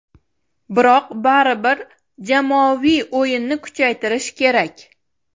Biroq baribir jamoaviy o‘yinni kuchaytirish kerak.